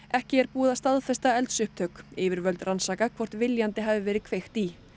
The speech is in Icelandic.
ekki er búið að staðfesta eldsupptök yfirvöld rannsaka hvort viljandi hafi verið kveikt í